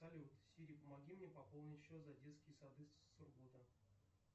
салют сири помоги мне пополнить счет за детские сады сургута